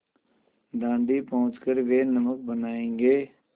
दाँडी पहुँच कर वे नमक बनायेंगे